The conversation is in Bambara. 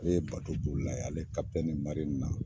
Ale ye baton bolila ye ale kapitɛni mari na